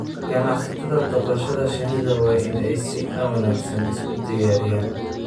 Ganacsatada dhaqashada shinnida waa in ay si wanaagsan isu diyaariyaan.